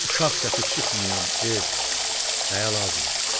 Uşaq səsi çıxmayan ev, nəyə lazımdır?